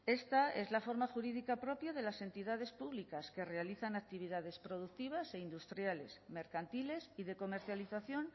esta es la forma jurídica propia de las entidades públicas que realizan actividades productivas e industriales mercantiles y de comercialización